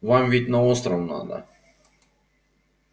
вам ведь на остров надо